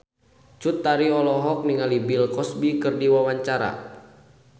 Cut Tari olohok ningali Bill Cosby keur diwawancara